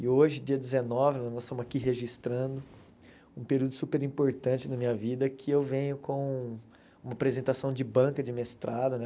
E hoje, dia dezenove, nós estamos aqui registrando um período super importante na minha vida, que eu venho com uma apresentação de banca de mestrado, né?